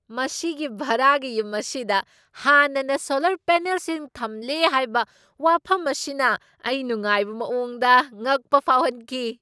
ꯃꯁꯤꯒꯤ ꯚꯔꯥꯒꯤ ꯌꯨꯝ ꯑꯁꯤꯗ ꯍꯥꯟꯅꯅ ꯁꯣꯂꯔ ꯄꯦꯅꯦꯜꯁꯤꯡ ꯊꯝꯂꯦ ꯍꯥꯏꯕ ꯋꯥꯐꯝ ꯑꯁꯤꯅ ꯑꯩ ꯅꯨꯡꯉꯥꯏꯕ ꯃꯑꯣꯡꯗ ꯉꯛꯄ ꯐꯥꯎꯍꯟꯈꯤ꯫